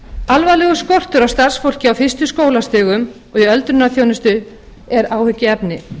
alvarlegur skortur á starfsfólki á fyrstu skólastigum og í öldrunarþjónustu er áhyggjuefni